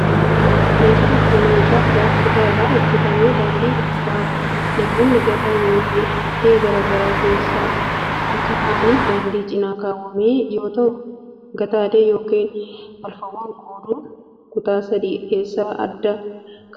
Meeshaan kun, meeshaa pilaastika irraa hojjatame daandii gubbaa namoonni gataa yokin haftee garaa garaa keessa akka kaa'aniif daandii cinaa kaawwame yoo ta'u, gataalee yokin balfawwan qoodun kutaa sadii keessa adda adda kaawwama.